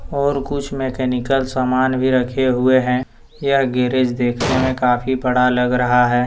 और कुछ मैकेनिकल समान भी रखे हुए है यह गैरेज देखने में काफी बड़ा लग रहा है।